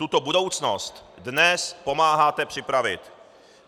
Tuto budoucnost dnes pomáháte připravit.